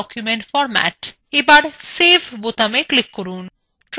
আর save বোতামে click করুন